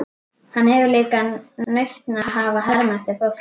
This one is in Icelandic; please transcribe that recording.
Hann hefur líka nautn af að herma eftir fólki.